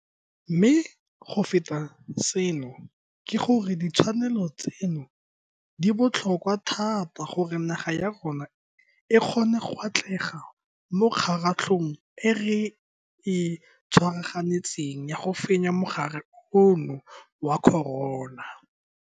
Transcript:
Mme go feta seno ke gore ditshwanelo tseno di botlhokwa thata gore naga ya rona e kgone go atlega mo kgaratlhong e re e tshwaraganetseng ya go fenya mogare ono wa corona.